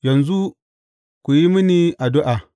Yanzu ku yi mini addu’a.